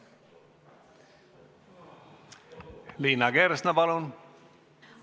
Liina Kersna, palun!